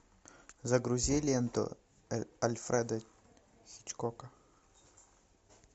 загрузи ленту альфреда хичкока